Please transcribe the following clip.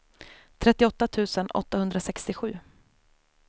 trettioåtta tusen åttahundrasextiosju